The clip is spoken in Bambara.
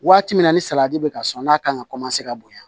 Waati min na ni salati bɛ ka sɔn n'a kan ka bonya